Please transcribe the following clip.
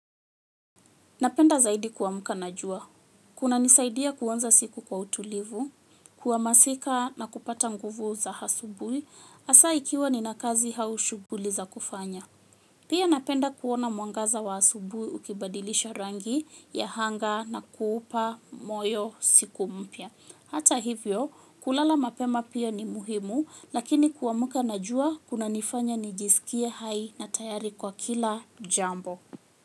Napenda zaidi kuamka na jua. Kunanisaidia kuanza siku kwa utulivu, kuhamazika na kupata nguvu za asubuhi, hasa ikiwa nina kazi au shughuli za kufanya. Pia napenda kuona mwangaza wa asubuhi ukibadilisha rangi ya anga na kuupa moyo siku mpya. Hata hivyo, kulala mapema pia ni muhimu, lakini kuamka na jua kunanifanya nijisikie hai na tayari kwa kila jambo.